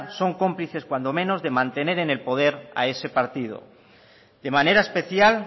son cómplices cuando menos de mantener en el poder a ese partido de manera especial